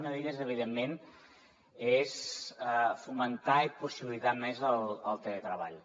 una d’elles evidentment és fomentar i possibilitar més el teletreball